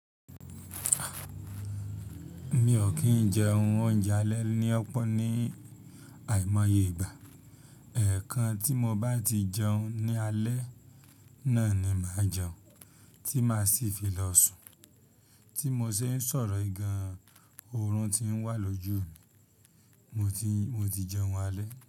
Mi o kín jẹ ohun oúnjẹ alẹ́ ní ọpọ ní àìmoye ìgbà. Eẹ̀kan tí mo bá ti jẹun ní alẹ́ náà ni màá jẹun, tí màá sì fi lọ sùn. Tí mo ṣe ń sọ̀rọ̀ yìí gan oorun tí ń wà lójú mi, mo ti, mo ti jẹun alẹ́